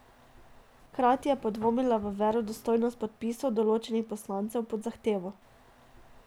Hkrati je podvomila v verodostojnost podpisov določenih poslancev pod zahtevo.